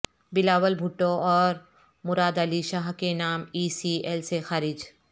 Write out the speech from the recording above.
بلاول بھٹو اور مراد علی شاہ کے نام ای سی ایل سے خارج